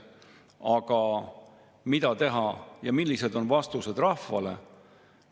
Aga mida teha ja millised on vastused rahvale?